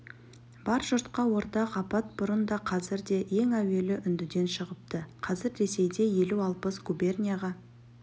бар жұртқа ортақ апат бұрын да қазір де ең әуелі үндіден шығыпты қазір ресейде елу-алпыс губернияға